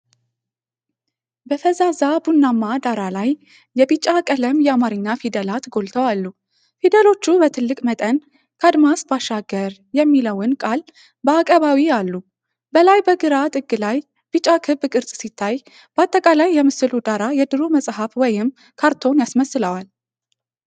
በፈዛዛ ቡናማ ዳራ ላይ የቢጫ ቀለም የአማርኛ ፊደላት ጎልተው አሉ። ፊደሎቹ በትልቅ መጠን “ከአድማስ ባሻገር” የሚለውን ቃል በአቀባዊ አሉ። በላይ በግራ ጥግ ላይ ቢጫ ክብ ቅርጽ ሲታይ፣ በአጠቃላይ የምስሉ ዳራ የድሮ መጽሐፍ ወይም ካርቶን ያስመስለዋል።